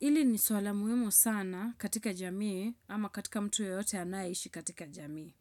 Ili ni suala muhimu sana katika jamii ama katika mtu yeyote anaishi katika jamii.